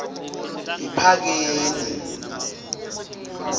yiphakeni